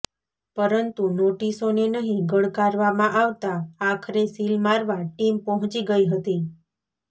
પરંતુ નોટિસોને નહી ગણકારવામાં આવતાં આખરે સીલ મારવા ટીમ પહોંચી ગઈ હતી